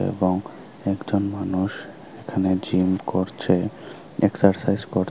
এবং একজন মানুষ এখানে জিম করছে এক্সারসাইজ কর--